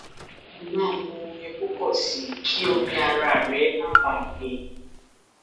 máa mu omi púpọ sí i kí omi ara rẹ má baà gbẹ